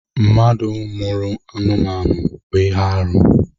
Mmadụ mụrụ anụmanụ bụ ihe arụ.